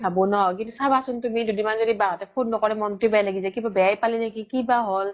ভাবো ন কিন্তু চাবা চোন তুমি বা হ'তে য্দি দুদিন মান ফোনে ন্কৰে মনতোয়ে বেয়া লাগি যাই কিবা বেয়াই পালে নেকি কিবা হ্'ল